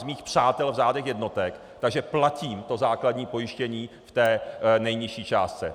Z mých přátel v řádu jednotek, takže platím to základní pojištění v té nejnižší částce.